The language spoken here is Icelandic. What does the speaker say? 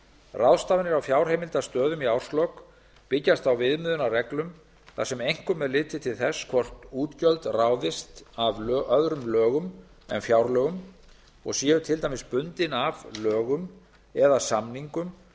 ráðstafanir á fjárheimildastöðum í árslok byggjast á viðmiðunarreglum þar sem einkum er litið til þess hvort útgjöld ráðist af öðrum lögum en fjárlögum og séu til dæmis bundin af lögum eða samningum